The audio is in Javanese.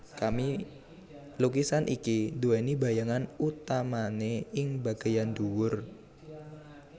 Lukisan iki duweni bayangan utamane ing bageyan dhuwur